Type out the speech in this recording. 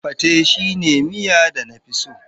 Pate shine miya da na fi so.